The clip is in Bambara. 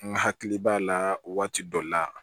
N hakili b'a la waati dɔ la